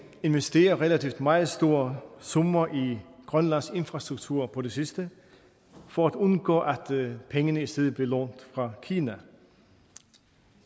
investere relativt meget store summer i grønlands infrastruktur på det sidste for at undgå at pengene i stedet bliver lånt fra kina